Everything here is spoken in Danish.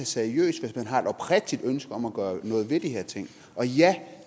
seriøst hvis man har et oprigtigt ønske om at gøre noget ved de her ting og ja